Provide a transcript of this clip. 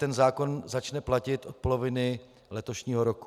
Ten zákon začne platit od poloviny letošního roku.